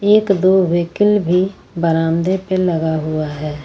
एक दो व्हीकल भी बरामदे पे लगा हुआ है।